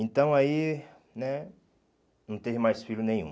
Então aí né não teve mais filho nenhum.